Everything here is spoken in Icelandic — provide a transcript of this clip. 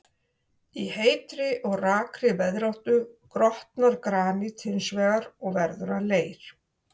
Í heitri og rakri veðráttu grotnar granít hins vegar og verður að leir.